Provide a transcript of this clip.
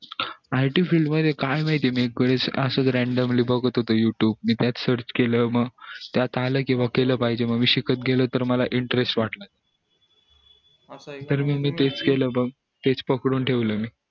it field मध्ये काय माहितअसच randomly बघत होतो youtube मी त्यात search केल त्यात आलं कि केलं पाहिजे बाबा मी शिकत गेलो म मला interest वाटला तर म मी म तेच केलं मी तेच पकडून ठेवलं मी